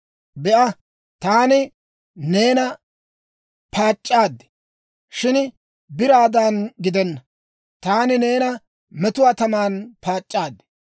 Be'a, taani neena paac'c'aad; shin biraadan gidenna; taani neena metuwaa taman paac'c'aad.